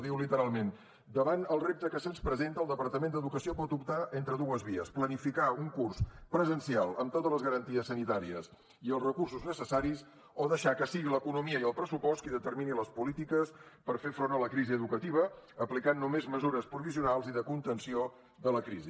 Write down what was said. diu literalment davant el repte que se’ns presenta el departament d’educació pot optar entre dues vies planificar un curs presencial amb totes les garanties sanitàries i els recursos necessaris o deixar que sigui l’economia i el pressupost qui determini les polítiques per fer front a la crisi educativa aplicant només mesures provisionals i de contenció de la crisi